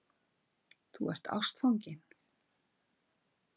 Þú ert ástfanginn.